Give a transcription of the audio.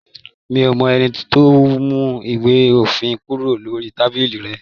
Mí o mọ ẹni tó mú ìwé òfin kúrò lórí tábìlì rẹ.